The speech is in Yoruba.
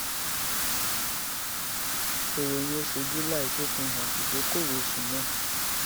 ìròyìn oṣù july tún fi hàn ìdókòwò oṣù náà